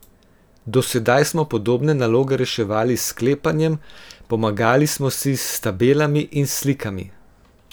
Do sedaj smo podobne naloge reševali s sklepanjem, pomagali smo si s tabelami in slikami.